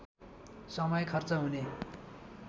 समय खर्च हुने